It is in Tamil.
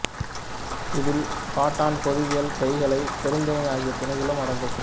இதில் பாடாண் பொதுவியல் கைக்கிளை பெருந்திணை ஆகிய திணைகளும் அடங்கும்